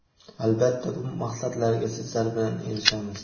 albatta bu maqsadlarga sizlar bilan erishamiz.